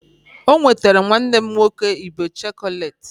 O nwetara nwanne m nwoke ibe chọkọleti